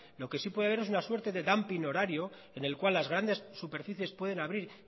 lo que sí puede haber es una suerte de horario en las cuales las grandes superficies pueden abrir